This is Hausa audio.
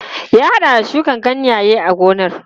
Ya haɗa da shuka ganyaye a gonar.